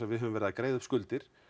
við höfum verið að greiða upp skuldir